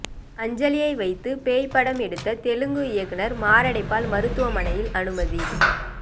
அஞ்சலியை வைத்து பேய் படம் எடுத்த தெலுங்கு இயக்குனர் மாரடைப்பால் மருத்துவமனையில் அனுமதி